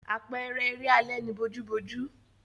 Àpẹẹrẹ eré alẹ́ ni bojúbojú.